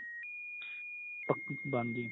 ਬਣਜੇ